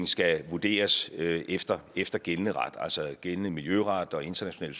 skal vurderes efter efter gældende ret altså gældende miljøret og international